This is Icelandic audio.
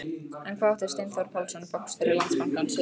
En hvað átti Steinþór Pálsson, bankastjóri Landsbankans við?